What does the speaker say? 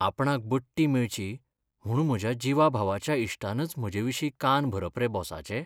आपणाक बडटी मेळची म्हू्ण म्हज्या जिवाभावाच्या इश्टानच म्हजेविशीं कान भरप रे बॉसाचे!